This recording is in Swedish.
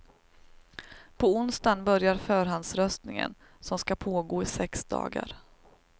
På onsdagen börjar förhandsröstningen, som skall pågå i sex dagar.